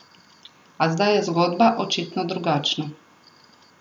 A zdaj je zgodba očitno drugačna.